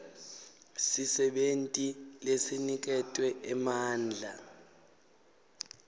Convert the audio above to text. sisebenti lesiniketwe emandla